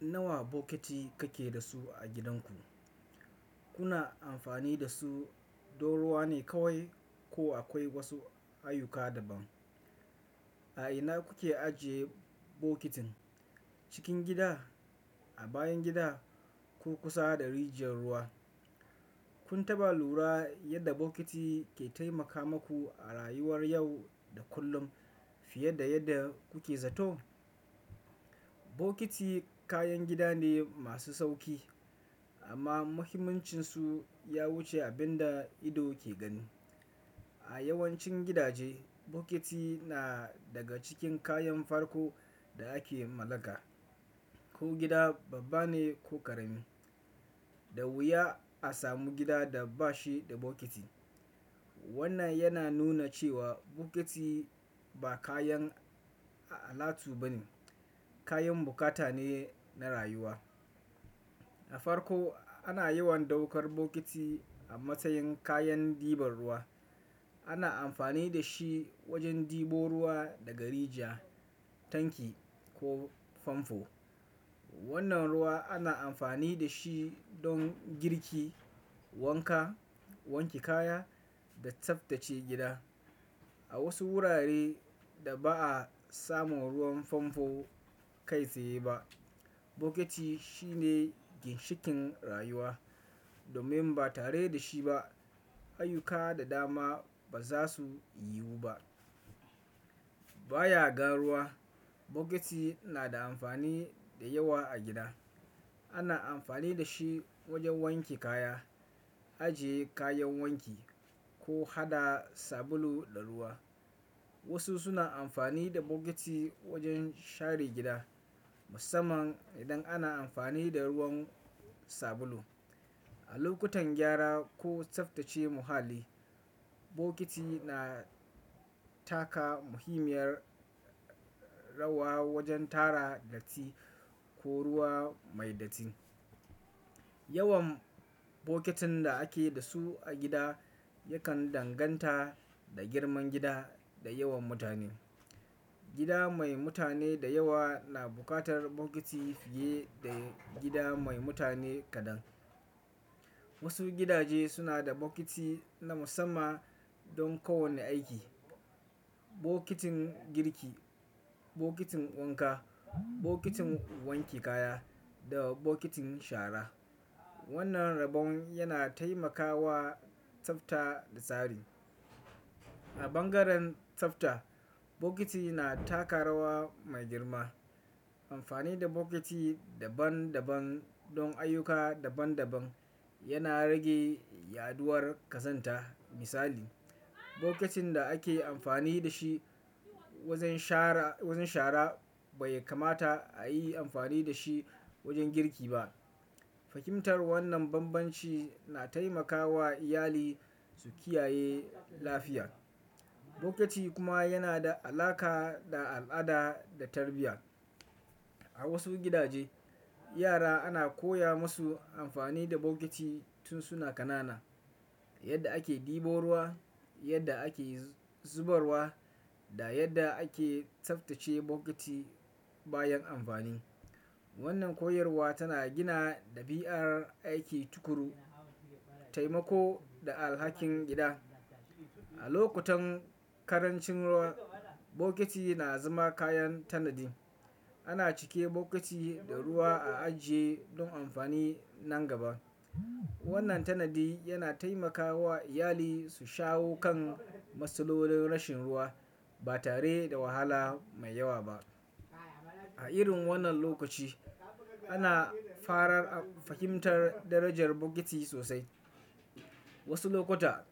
Nawa bokiti kake da su a gidanku? Kuna amfani da su don ruwa ne kawai ko akwai wasu ayyuka daban? A ina kuke ajiye bokitin? Cikin gida, a bayan gida ko kusa da rijiyar ruwa? Kun taɓa lura yadda bokiti ke taimaka maku a rayuwar yau da kullum fiye da yadda kuke zato? Bokiti kayan gida ne masu sauƙi amma muhimmancinsu ya wuce abin da ido ke gani. A yawancin gidaje, bokiti na daga cikin kayan farko da ake mallaka. Ko gida babba ne ko ƙarami, da wuya a samu gida da ba shi da bokiti. Wannan yana nuna cewa bokiti ba kayan alatu ba ne, kayan bukata ne na rayuwa. A farko ana yawan ɗaukar bokiti a matsayin kayan diban ruwa. Ana amfani da shi wajen ɗibo ruwa daga rijiya, tanki ko famfo. Wannan ruwa ana amfani da shi don girki, wanka, wanke kaya da tsaftace gida. A wasu wurare da ba a samun ruwan famfo kai tsaye ba, bokiti shine ginshikin rayuwa domin ba tare da shi ba ayyuka da dama ba za su yiwu ba. Baya ga ruwa, bokiti na da amfani da yawa a gida. Ana amfani da shi wajen wanke kaya, ajiye kayan wanki ko haɗa sabulu da ruwa. Wasu suna amfani da bokiti wajen share gida musamman idan ana amfani da ruwan sabulu. A lokutan gyara ko tsaftace muhalli, bokiti na taka muhimmiyar rawa wajen tara datti ko ruwa mai datti. Yawan bokitin da ake da su a gida yakan danganta da girman gida da yawan mutane. Gida mai mutane da yawa na buƙatar bokiti fiye da gida mai mutane kaɗan. Wasu gidaje suna da bokiti na musamman don kowane aiki. Bokitin girki, bokitin wanka, bokitin wanke kaya da bokitin shara. Wannan rabon yana taimakawa tsafta da tsari. A bangaren tsafta, bokiti na taka rawa mai girma. Amfani da bokiti daban daban don ayyuka daban daban yana rage yaɗuwar ƙazanta. Misali, bokitin da ake amfani da shi wajen shara bai kamata a yi amfani da shi wajen girki ba. Fahimtar wannan banbanci na taimakawa iyali su kiyaye lafiya. Bokiti kuma yana da alaƙa da al'ada da tarbiyya. A wasu gidaje, yara ana koya musu amfani da bokiti tun suna ƙanana yadda ake ɗibo ruwa, yadda ake zubarwa da yadda ake tsaftace bokiti bayan amfani. Wannan koyarwa tana gina ɗabi'ar aiki tukuru, taimako da alhakin gida. A lokutan karancin ruwa, bokiti na zama kayan tanadi. Ana cike bokiti da ruwa a ajiye don amfani nan gaba. Wannan tanadi yana taimakawa iyali su shawo kan matsalolin rashin ruwa ba tare da wahala mai yawa ba. A irin wannan lokaci ana fara fahimtar darajar bokiti sosai. Wasu lokuta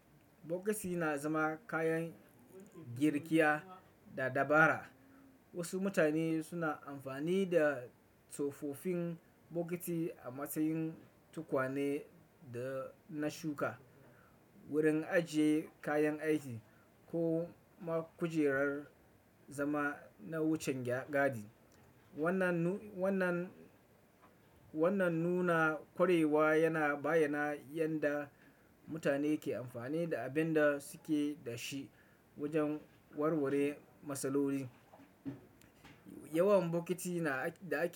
bokiti na zama kayan girkiya da dabara. Wasu mutane suna amfani da tsofaffin bokiti a matsayin tukwane na shuka, wurin ajiye kayan aiki ko ma kujerar zama na wucin gadi. Wannan wannan nuna ƙwarewa yana bayyana yadda mutane ke amfani da abin da suke da shi wajen warware matsaloli. Yawan bokiti da ake.